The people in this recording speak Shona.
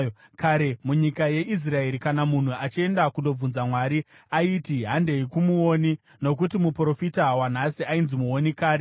Kare munyika yeIsraeri, kana munhu achienda kundobvunza Mwari, aiti, “Handei kumuoni,” nokuti muprofita wanhasi ainzi muoni kare.